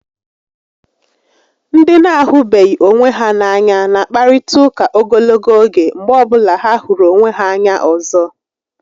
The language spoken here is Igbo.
Ndị na-ahụbeghị onwe ha n'anya na akparịta ụka ogologo oge mgbe ọbụla ha hụrụ onwe ha anya ọzọ